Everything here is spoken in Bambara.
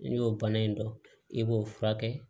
N'i y'o bana in dɔn i b'o furakɛ